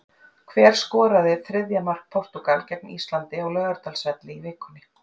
Hver skoraði þriðja mark Portúgal gegn Íslandi á Laugardalsvelli í vikunni?